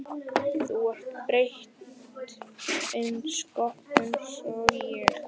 Þú ert þreytt einsog ég.